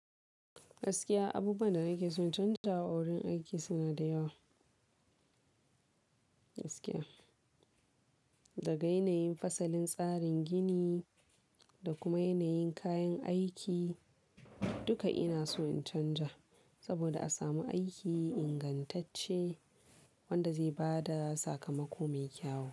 Gaskiya abubuwan da nake so in canja a wurin aiki, suna da yawa. Gaskiya, daga yanayin fasalin tsarin gini, da kuma yanayin kayan aiki, duka ina so in canja saboda, a samu aiki ingantacce wanda zai bada sakamako mai kyau.